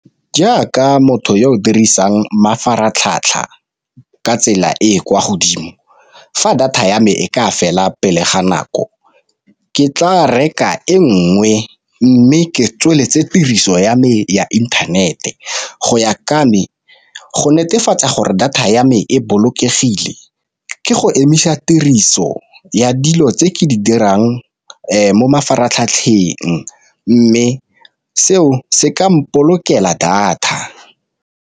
Jaaka motho yo o dirisang mafaratlhatlha ka tsela e e kwa godimo fa data ya me e ka fela pele ga nako ke tla reka e nngwe, mme ke tsweletse tiriso ya me ya inthanete go ya go netefatsa gore data ya me e bolokegile ke go emisa tiriso ya dilo tse ke di dirang mo mafaratlhatlheng, mme seo se ka moo ipolokela data.